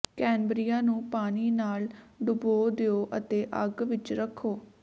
ਕੈਨਬਰੀਆਂ ਨੂੰ ਪਾਣੀ ਨਾਲ ਡੁਬੋ ਦਿਓ ਅਤੇ ਅੱਗ ਵਿੱਚ ਰੱਖੋ